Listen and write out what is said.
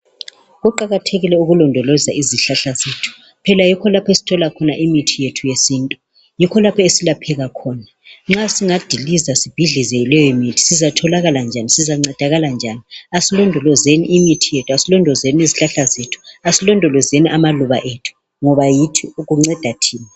Kuqakathekile ukulondoloza izihlahla zethu phela yikho lapho esithola khona imithi yethu yesintu, yikho lapho esilapheka khona nxa singadiliza sibhidlize leyo mithi sizatholakala njani sizancedakala njani asilondolozeni amaluba kanye lezihlahla zethu ngoba kunceda thina